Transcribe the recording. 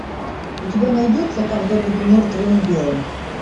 у тебя найдется когда буду мертвым и белым